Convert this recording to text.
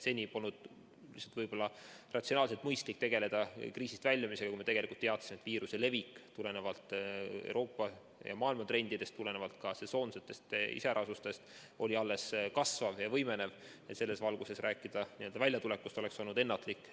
Seni polnud lihtsalt võib-olla ratsionaalselt mõistlik tegeleda kriisist väljumisega, kui me tegelikult teadsime, et viiruse levik tulenevalt Euroopa ja maailma trendidest, tulenevalt ka sesoonsetest iseärasustest oli alles kasvav ja võimenev, ja selles valguses väljatulekust rääkida oleks olnud ennatlik.